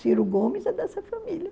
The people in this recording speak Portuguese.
Ciro Gomes é dessa família.